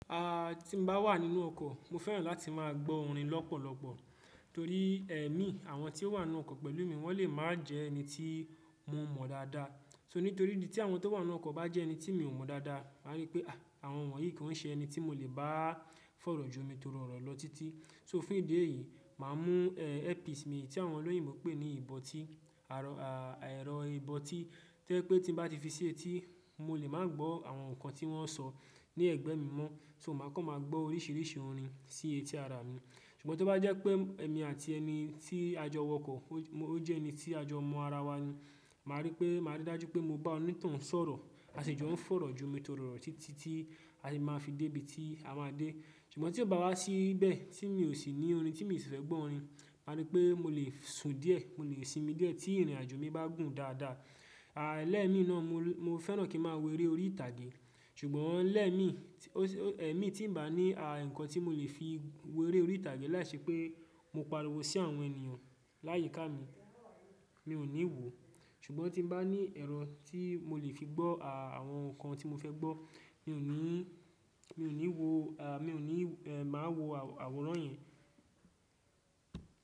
Aaa tí n bá wà nínú ọkọ̀, mo fẹ́ràn láti má a gbọ́ orin lọ́pọ̀lọpọ̀ torí ẹ̀mí àwọn tí ó wà nínú ọkọ̀ pẹ̀lú mi wọ́n lè má a jẹ́ ẹni tí mo mọ̀ dáadáa. So nítorí ìdí tí àwọn tó wà nínú ọkọ̀ bá jẹ́ ẹni tí mi ò mọ̀ dáadáa, màá rí pé aa àwọn wọ̀nyí ko í ṣe ẹni tí mo lè bá fọ̀rọ̀ jo mi toro orọ̀ lọ títí. So fún ìdí èyí, màá mú eh earpiece mi tí àwọn olóyìn mó n pé ní ìbọtí, arọ à ẹ́rọ ìbọtí to jẹ pé tí n bá ti fi sí etí mo lè má a gbọ́ àwọn ǹkan tí wọ́n ń sọ ní ẹ̀gbẹ́ mi mọ́, so mo má a kàn máa gbọ́ oríṣìíríṣìí orin sí etí ara mi. Ṣùgbọ́n tí ó bá jẹ́ pé ẹ̀mi àti ẹni tí a jọ wọkọ̀ ó jẹ́ ẹni tí a jọ mọ ara wa ni, màá rí pé màá rí dájú pé mo bá onítàn ń sọ̀rọ̀, a si jọ ń fọ̀rọ̀ jo mi toro ọ̀rọ̀ títí tí a lè máa fi dé ibi tí a máa dé. Ṣùgbọ́n tí ó bá wá síbẹ̀ tí mi ò sì ní orin tí mi sì fẹ́ gbọ́ orin, màá rí pé mo lè sun díẹ̀, mo lè sinmi díẹ̀ tí ìrìnàjò mi bá gùn dáadáa. A lẹ̀mi náà mo fẹ́ràn kí n má a wérè orí ìtàgé, ṣùgbọ́n lẹ̀mi tí ẹ̀mi tí n bá ní àa ǹkan tí mo lè fi wérè orí ìtàgé láìṣẹ́ pé mo pariwo sí àwọn ènìyàn láyìíká mi, mi ò ní wò ó. Ṣùgbọ́n tí n bá ní ẹ̀rọ tí mo lè fi gbọ́ àwọn ǹkan tí mo fẹ́ gbọ́, mi ò ní í, mi ò ní wò a mi ò ní má a wò àwòrán yẹn.